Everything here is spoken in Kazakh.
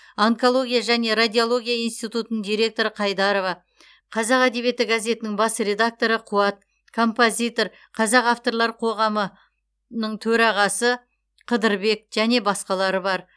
онкология және радиология институтының директоры қайдарова қазақ әдебиеті газетінің бас редакторы қуат композитор қазақ авторлар қоғамының төрағасы қыдырбек және басқалары бар